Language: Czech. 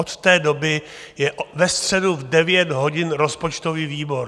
Od té doby je ve středu v 9 hodin rozpočtový výbor.